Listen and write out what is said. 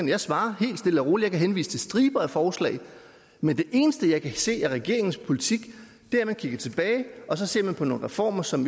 jeg svarer helt stille og roligt og kan henvise til striber af forslag men det eneste jeg kan se af regeringens politik er at man kigger tilbage og ser på nogle reformer som